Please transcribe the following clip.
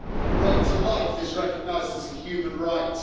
The right to life is recognised as a human right.